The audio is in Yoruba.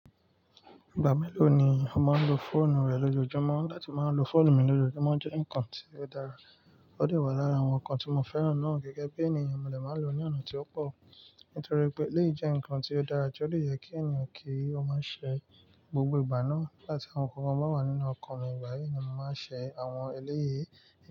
Ìgbà mélòó ni o máa ń lo fóònù rẹ lójoojúmọ́? Láti máa lo fóònù mi lójoojúmọ́ jẹ́ ǹkan tí ó dára. Ó de wà lára àwọn ǹkan tí mo fẹ́ràn náà gẹ́gẹ́ bí ènìyàn mo de máa ń lo ó ní ọ̀nà tí ó pò. Nítorí pé eleyi jẹ́ ǹkan tí ó dára ti o de yẹ kí ènìyàn kí ó máa ṣẹ gbogbo ìgbà náà. Nigba ti nkankan bá wà nínú ọkàn mi ìgbà yìí ni màá n ṣe àwọn eléyè.